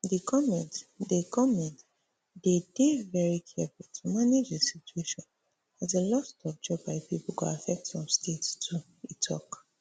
di goment dey goment dey dey veri careful to manage di situation as di lost of job by pipo go affect some states too e tok